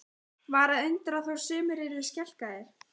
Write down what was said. Var að undra þó sumir yrðu skelkaðir?